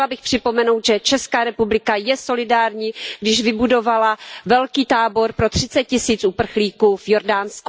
Chtěla bych připomenout, že Česká republika je solidární, když vybudovala velký tábor pro 30 tisíc uprchlíků v Jordánsku.